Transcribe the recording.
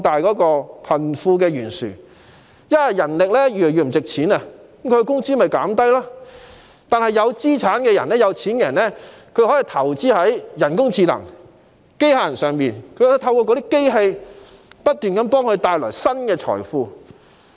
當人力資源的價值越來越低時，工資便會下降，但持有資產的有錢人卻可以投資在人工智能和機械人上，透過機器不斷為他們製造財富。